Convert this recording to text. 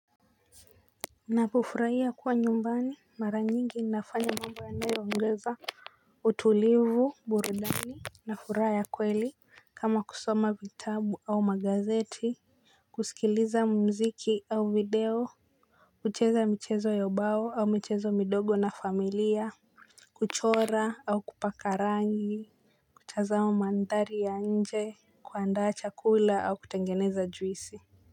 Napofurahia kuwa nyumbani mara nyingi nafanya mambo yanayo ongeza utulivu burudani na furaha ya kweli kama kusoma vitabu au magazeti. Kusikiliza mziki au video. Kucheza michezo yabao au michezo midogo na familia. Kuchora au kupaka rangi. Kutazama mandhari ya nje. Kuandaa chakula au kutengeneza juisi.